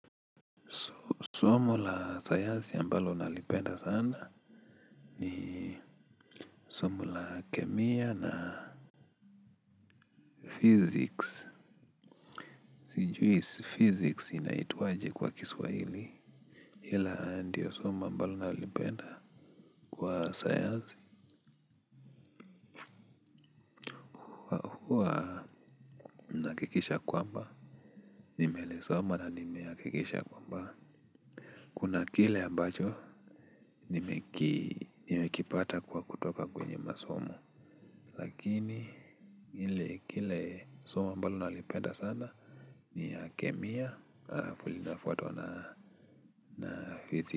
Somo la sayansi ambalo nalipenda sana. Ni somo la kemia na physics. Sijui physics inaitwa aje kwa kiswahili. Ila ndio somo ambalo nalipenda kwa sayansi. Kuwa na hakikisha kwamba nimelisoma na nimehakikisha kwamba kuna kile ambacho nimekipata kwa kutoka kwenye masomo. Lakini ile kile somo ambalo nalipenda sana ni ya kemia alafu linafuatwa na hizi.